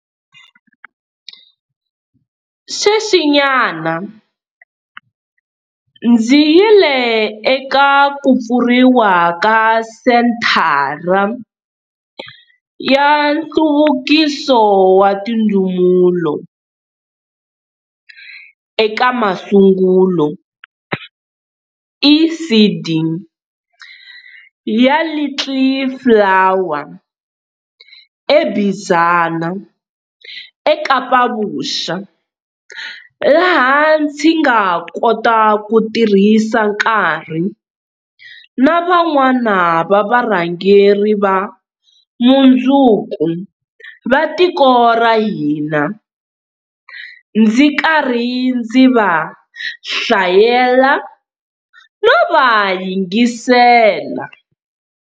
Sweswinyana ndzi yile eka ku pfuriwa ka Senthara ya Nhluvukiso wa Tindzumulo eka Masungulo, ECD, ya Little Flower eBizana eKapa-Vuxa, laha ndzi nga kota ku tirhisa nkarhi na van'wana va varhangeri va mundzuku va tiko ra hina, ndzi karhi ndzi va hlayela no va yingisela.